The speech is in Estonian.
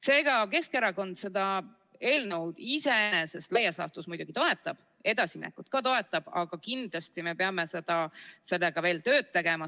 Seega, Keskerakond seda eelnõu iseenesest laias laastus muidugi toetab, edasiminekut ka toetab, aga me peame kindlasti sellega veel tööd tegema.